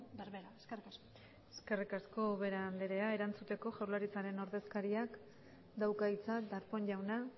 berbera eskerrik asko eskerrik asko ubera andrea erantzuteko jaurlaritzaren ordezkariak dauka hitza darpón jauna